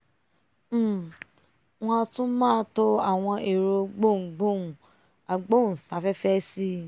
um wọ́n a tún máa to àwọn ẹ̀rọ gboùngboùn agbóùnsáfẹ́fẹ́ sí